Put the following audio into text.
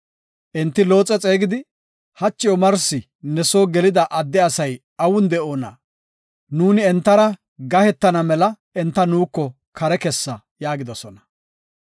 Enti Looxe xeegidi, “Hachi omarsi ne soo gelida adde asati awun de7oona? Nuuni entara gahetana mela enta nuuko kare kessa” yaagidosona.